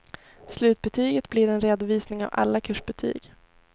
Slutbetyget blir en redovisning av alla kursbetyg.